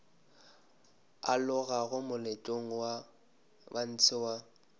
alogago moletlong wa ntshe wa